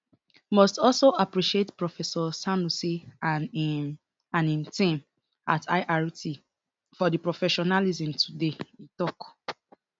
must also appreciate professor sanusi and im and im team at irt for di professionalism today e tok